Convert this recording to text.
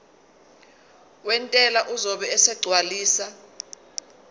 wentela uzobe esegcwalisa